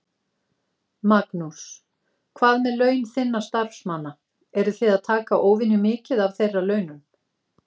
Magnús: Hvað með laun þinna starfsmanna, eruð þið að taka óvenjumikið af þeirra launum?